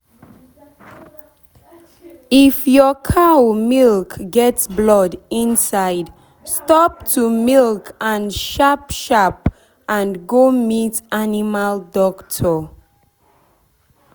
if your cow milk get blood inside stop to milk am sharp sharp and go meet animal doctor.